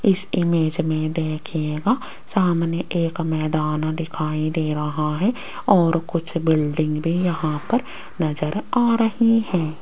इस इमेज में देखिएगा सामने एक मैदान दिखाई दे रहा है और कुछ बिल्डिंग भी यहां पर नजर आ रही है।